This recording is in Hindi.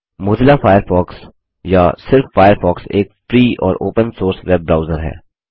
मोज़िला फ़ायरफ़ॉक्स या सिर्फ फ़ायरफ़ॉक्स एक फ्री और ओपन सोर्स वेब ब्राउज़र है